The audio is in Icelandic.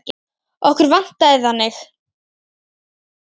Okkur vantaði þannig.